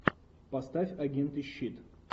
поставь агенты щит